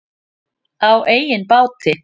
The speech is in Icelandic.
Á eigin báti.